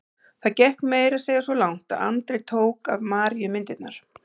Það gekk meira að segja svo langt að Andri tók af Maríu myndirnar.